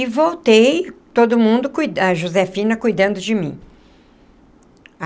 E voltei, todo mundo cuidando, a Josefina cuidando de mim.